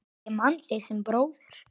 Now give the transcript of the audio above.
Ég man þig sem bróður.